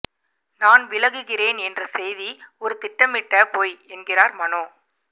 நான் விலகுகிறேன் என்ற செய்தி ஒரு திட்டமிட்ட பொய் என்கிறார் மனோ